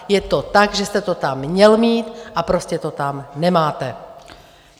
Je to tak, že jste to tam měl mít, a prostě to tam nemáte.